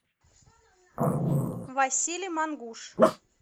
василий мангуш